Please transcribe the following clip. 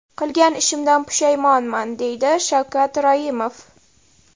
Qilgan ishimdan pushaymonman”, deydi Shavkat Raimov.